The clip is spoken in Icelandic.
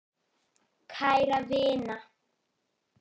Kæra vina!